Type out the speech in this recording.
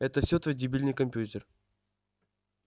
это всё твой дебильный компьютер